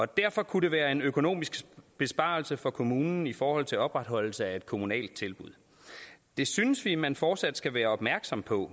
derfor kunne det være en økonomisk besparelse for kommunen i forhold til opretholdelse af et kommunalt tilbud det synes vi man fortsat skal være opmærksom på